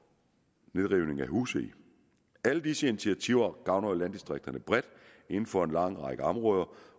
nedrivning af huse alle disse initiativer gavner jo landdistrikterne bredt inden for en lang række områder